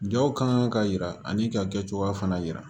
Jaw kan ka yira ani ka kɛ cogoya fana jira